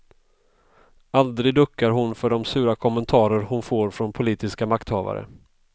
Aldrig duckar hon för de sura kommentarer hon får från politiska makthavare.